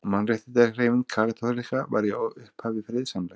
Mannréttindahreyfing kaþólikka var í upphafi friðsamleg.